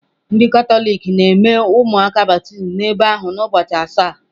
Ndị Katọlik na-eme ụmụaka baptizim n'ebe ahụ na ụbọchị asaa..